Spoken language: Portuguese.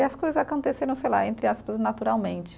E as coisas aconteceram, sei lá, entre aspas, naturalmente.